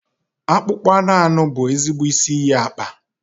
Akpụkpọ anụ anụ bụ ezigbo isi iyi akpa.